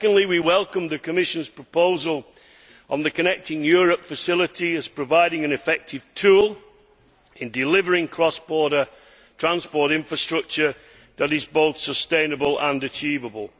Secondly, we welcome the Commission's proposal on the Connecting Europe Facility as providing an effective tool in delivering cross border transport infrastructure that is both sustainable and achievable.